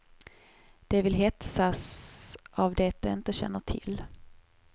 De vill hetsas av det de inte känner till.